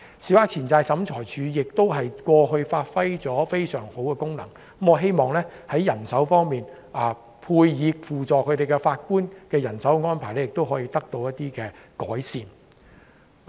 小額錢債審裁處過去發揮了非常好的作用，我希望輔助法官的人手安排可以得到改善。